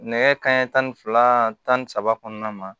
Nɛgɛ kanɲɛ tan ni fila tan ni saba kɔnɔna na